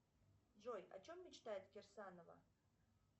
джой о чем мечтает кирсанова